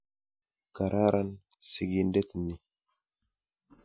Kararan sikindet ni.